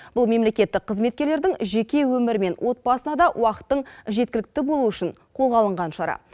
бұл мемлекеттік қызметкерлердің жеке өмірі мен отбасына да уақыттың жеткілікті болуы үшін қолға алынған шара